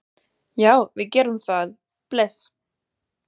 Já, við gerum það. Bless.